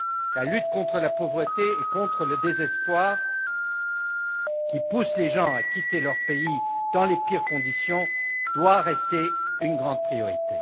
La lutte contre la pauvreté et contre le désespoir qui poussent les gens à quitter leur pays dans les pires conditions doit rester une grande priorité.